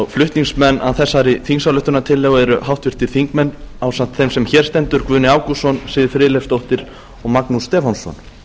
flutningsmenn að þessari þingsályktunartillögu eru ásamt þeim sem hér stendur háttvirtur þingmaður guðni ágústsson siv friðleifsdóttir og magnús stefánsson